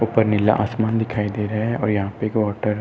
ऊपर नीला आसमान दिखाई दे रहा है और यहाँ पर --